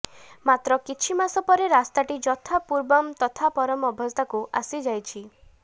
ମାତ୍ର କିଛିମାସ ପରେ ରାସ୍ତାଟି ଯଥା ପୂର୍ବଂ ତଥା ପରଂ ଅବସ୍ଥାକୁ ଆସି ଯାଉଛି